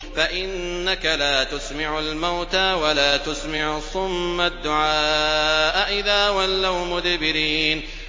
فَإِنَّكَ لَا تُسْمِعُ الْمَوْتَىٰ وَلَا تُسْمِعُ الصُّمَّ الدُّعَاءَ إِذَا وَلَّوْا مُدْبِرِينَ